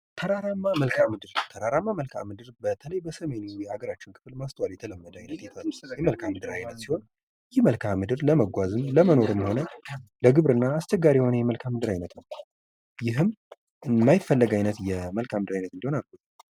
ተራራማ መልከዓ ምድር፤ ተራራማ መልከዓ ምድር በተለይ በስተሜኑ የሀገራችን ክፍል ማስተዋል የተለመደ አይነት መልከዓ ምድር አይነት ሲሆን ይህ መልክዓ ምድር ለመጓዝ ለመኖርም ሆነ ለግብርና አስቸጋሪ የሆነ የመልካም አይነት ነው። ይህም የማይፈለግ አይነት የመልከዓ ምድር ዓይነት እንዲሆን አድርጎታል።